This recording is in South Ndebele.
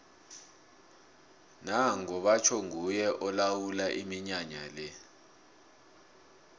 nango batjho nguye olawula iminyanya le